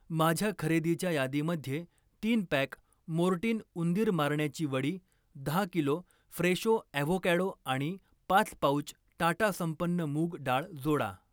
माझ्या खरेदीच्या यादीमध्ये तीन पॅक मोर्टीन उंदीर मारण्याची वडी, दहा किलो फ्रेशो ॲव्होकॅडो आणि पाच पाउच टाटा संपन्न मूग डाळ जोडा.